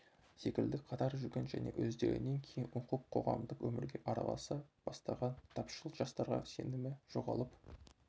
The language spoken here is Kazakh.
секілді қатар жүрген және өздерінен кейін оқып қоғамдық өмірге араласа бастаған тапшыл жастарға сенімі жоғалып